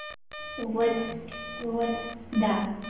вот вот да